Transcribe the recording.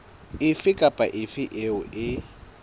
efe kapa efe eo e